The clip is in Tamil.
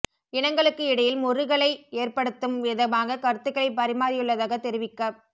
இனங்களுக்கு இடையில் முறுகலை எற்படுத்தும் விதமாக கருத்துக்களை பரிமாறியுள்ளதாக தெரிவிக்கப்